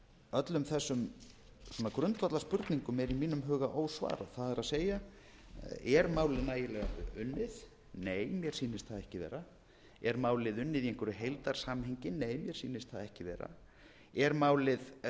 öllum þessum grundvallarspurningum er í mínum huga ósvarað það er er málið nægilega unnið nei mér sýnist það ekki vera er málið unnið í einhverju heildarsamhengi nei mér sýnist það ekki vera er málið